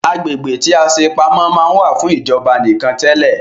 Agbègbè tí a ṣe pamọ́ máa ń wà fún ìjọba nìkan tẹle